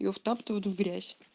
его втаптывают в грязь